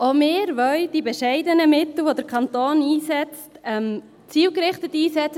Auch wir wollen die bescheidenen Mittel, die der Kanton einsetzt, zielgerichtet einsetzen.